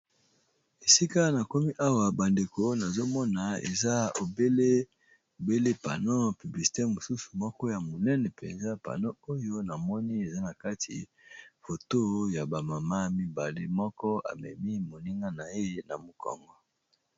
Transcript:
Esika na komi awa bandeko nazomona eza lbele pano publisete mosusu moko ya monene mpenza pano oyo namoni eza na kati foto ya bamama mibale moko amemi moninga na ye na mokongo.